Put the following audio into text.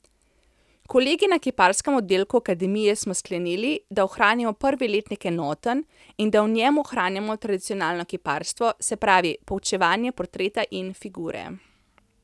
Kolegi na kiparskem oddelku akademije smo sklenili, da ohranimo prvi letnik enoten in da v njem ohranjamo tradicionalno kiparstvo, se pravi poučevanje portreta in figure.